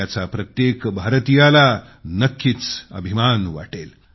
याचा प्रत्येक भारतीयाला नक्कीच अभिमान वाटेल